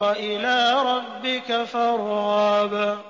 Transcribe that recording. وَإِلَىٰ رَبِّكَ فَارْغَب